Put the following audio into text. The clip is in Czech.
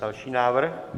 Další návrh?